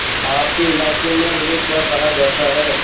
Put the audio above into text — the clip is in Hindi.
आपके इलाके में इन्हें क्या कहा जाता है